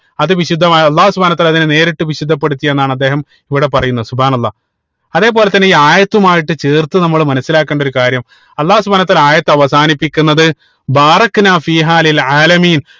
അത് വിശുദ്ധമായ അള്ളാഹു സുബ്‌ഹാനഉ വതാല അതിനെ നേരിട്ട് വിശുദ്ധപ്പെടുത്തി എന്നാണ് അദ്ദേഹം ഇവിടെ പറയുന്നത് അള്ളാഹ് അതേപോലെ തന്നെ ഈ ആയതുമായിട്ട് ചേർത്ത് നമ്മൾ മനസിലാക്കേണ്ട ഒരു കാര്യം അള്ളാഹു സുബ്‌ഹാനഉ വതാല ആയത്ത് അവസാനിപ്പിക്കുന്നത്